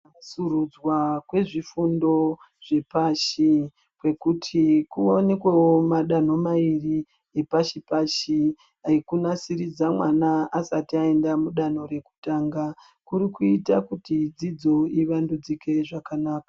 Kunatsurudzwa kwezvifundo zvepashi, kwekuti kuwanikwewo madanha mairi epashi-pashi, ekunasiridza mwana asati aenda mudanho rekutanga, kuri kuita kuti dzidzo ivandudzike zvakanaka.